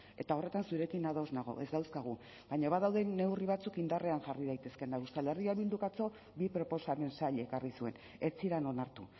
eta horretan zurekin ados nago ez dauzkagu baina badaude neurri batzuk indarrean jarri daitezkeenak euskal herria bilduk atzo bi proposamen zail ekarri zuen ez ziren onartu